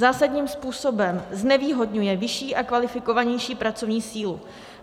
Zásadním způsobem znevýhodňuje vyšší a kvalifikovanější pracovní sílu.